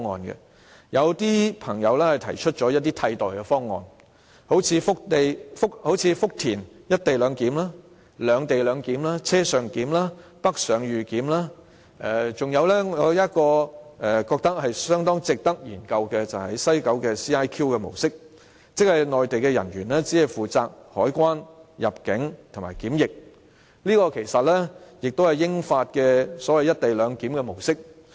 有人提出一些替代方案，例如福田"一地兩檢"、"兩地兩檢"、車上檢、北上預檢，還有我覺得相當值得研究的西九 CIQ 模式，即內地人員只負責海關、入境及檢疫，這其實也是英法兩國間的"一地兩檢"模式。